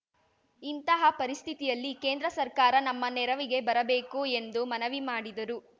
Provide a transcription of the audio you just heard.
ಇಂತಹ ಪರಿಸ್ಥಿತಿಯಲ್ಲಿ ಕೇಂದ್ರ ಸರ್ಕಾರ ನಮ್ಮ ನೆರವಿಗೆ ಬರಬೇಕು ಎಂದು ಮನವಿ ಮಾಡಿದರು